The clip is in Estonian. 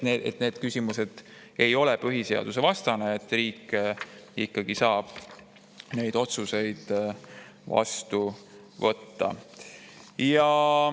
Need küsimused ei ole põhiseadusvastased, riik ikkagi saab neid otsuseid vastu võtta.